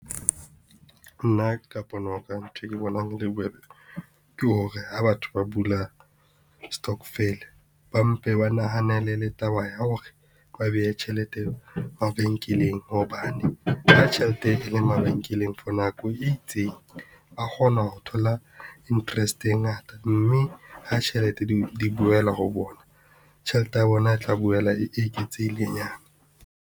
Nna ka pono ya ka nthwe ke bonang ho le bobebe ke hore ha batho ba bula stokvel, ba mpe ba nahanele le taba ya hore ba behe tjhelete mabenkeleng. Hobane ha tjhelete e leng mabenkeleng for nako e itseng, ba kgona ho thola interest e ngata, mme ha tjhelete di boela ho bona, tjhelete ya bona e tla boela e eketsehilenyana.